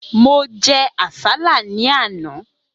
Mo jẹ àsálà ní àná.